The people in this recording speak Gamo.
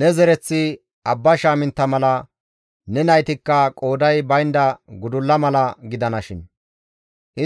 Ne zereththi abba shaamintta mala, ne naytikka qooday baynda gudulla mala gidanashin;